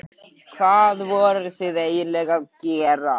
Hvað voruð þið eiginlega að gera?